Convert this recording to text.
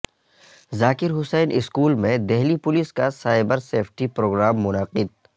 ذاکر Hussain school میں Delhi police کا cyber safety programme منعقد